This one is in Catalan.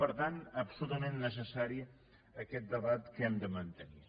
per tant absolutament necessari aquest debat que hem de mantenir